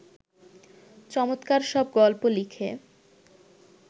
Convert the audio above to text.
চমৎকার সব গল্প লিখে